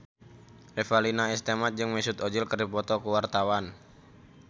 Revalina S. Temat jeung Mesut Ozil keur dipoto ku wartawan